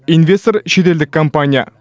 инвестор шетелдік компания